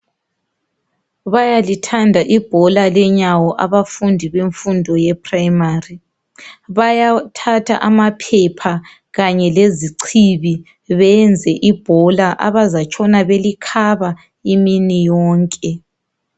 Bayalithanda ibhola lenyawo abafundi bemfundo ye primary bayathatha amaphepha kanye lezichibi beyenze ibhola abazatshona belikhaba imini yonke.